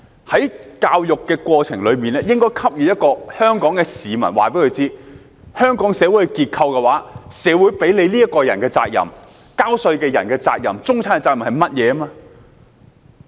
在教育的過程中，應該告訴香港市民，在香港的社會結構裏，社會賦予個人的責任、繳稅人的責任、中產的責任是甚麼。